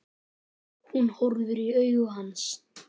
Hún horfir í augu hans.